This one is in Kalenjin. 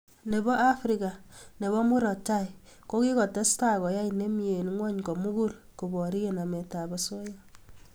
Nebo afrika nebo murot tai ko kikotestai koyai nemie eng ngwony komugul koborie nametab osoya